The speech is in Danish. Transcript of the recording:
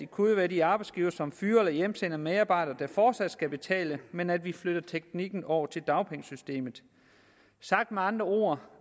kunne være de arbejdsgivere som fyrer eller hjemsender medarbejdere der fortsat skal betale men at vi flytter teknikken over til dagpengesystemet sagt med andre ord